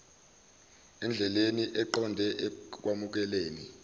endleleni eqonde ekwamukeleni